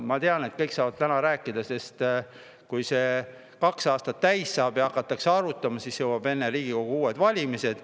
Ma tean, et kõik saavad täna rääkida, sest kui kaks aastat täis saab, siis hakatakse seda kõike uuesti arutama, aga enne jõuavad kätte Riigikogu uued valimised.